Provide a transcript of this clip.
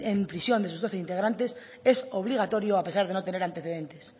en prisión de sus doce integrantes es obligatorio a pesar de no tener antecedentes